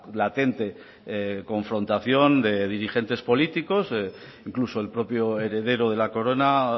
latente confrontación de dirigentes políticos incluso el propio heredero de la corona